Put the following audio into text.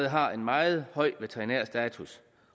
har en meget høj veterinær status